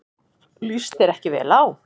Líst þér ekki vel á.